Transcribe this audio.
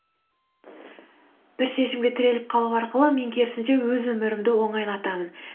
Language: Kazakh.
бір шешімге тіреліп қалу арқылы мен керісінше өз өмірімді оңайлатамын